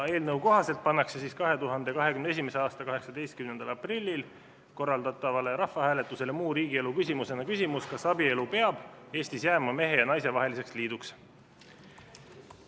Eelnõu kohaselt pannakse 2021. aasta 18. aprillil korraldatavale rahvahääletusele muu riigielu küsimusena küsimus, kas abielu peab Eestis jääma mehe ja naise vaheliseks liiduks.